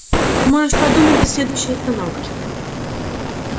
можешь подумать до следующей остановки